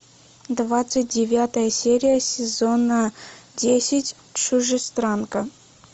двадцать девятая серия сезона десять чужестранка